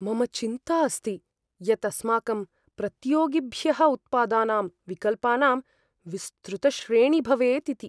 मम चिन्ता अस्ति यत् अस्माकं प्रतियोगिभ्यः उत्पादानां विकल्पानां विस्तृतश्रेणी भवेत् इति।